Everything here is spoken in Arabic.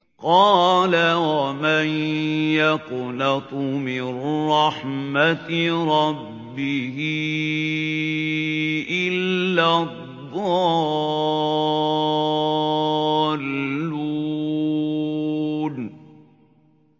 قَالَ وَمَن يَقْنَطُ مِن رَّحْمَةِ رَبِّهِ إِلَّا الضَّالُّونَ